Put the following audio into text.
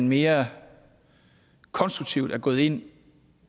mere konstruktivt er gået ind